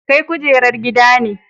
Kai kujerar gida ne.